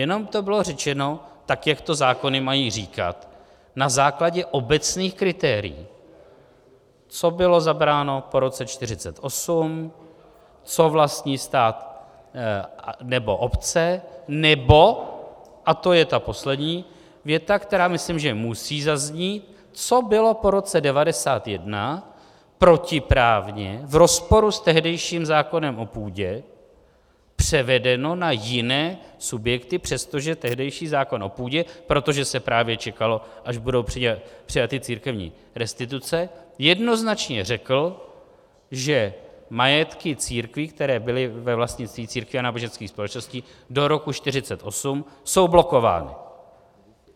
Jenom to bylo řečeno tak, jak to zákony mají říkat na základě obecných kritérií, co bylo zabráno po roce 1948, co vlastní stát nebo obce nebo - a to je ta poslední věta, která, myslím, že musí zaznít - co bylo po roce 1991 protiprávně, v rozporu s tehdejším zákonem o půdě, převedeno na jiné subjekty, přestože tehdejší zákon o půdě, protože se právě čekalo, až budou přijaty církevní restituce, jednoznačně řekl, že majetky církví, které byly ve vlastnictví církví a náboženských společností do roku 1948, jsou blokovány.